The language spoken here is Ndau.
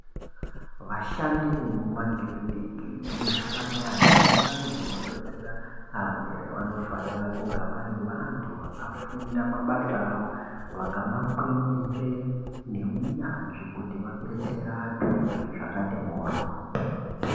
vashandi vemumakiriniki nemuzvipatara nemundau dzinobetsera arwere vanofana kuva vari vantu vakafunda mabasa avo vakamakwenenzvera neunyanzvi kutii vabetsere antu zvakati morwo